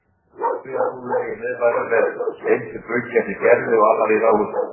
Í lyfjabúðinni í miðbænum er steindur gluggi eftir Gerði og annar í ráðhúsinu.